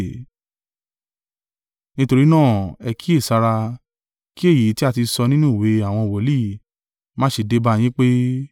Nítorí náà, ẹ kíyèsára, kí èyí tí a ti sọ nínú ìwé àwọn wòlíì má ṣe dé bá yín pé: